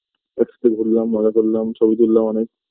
একসাথে ঘুরলাম মজা করলাম ছবি তুললাম অনেক